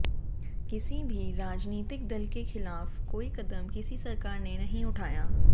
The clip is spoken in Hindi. किसी भी राजनीतिक दल के खिलाफ कोई कदम किसी सरकार ने नहीं उठाया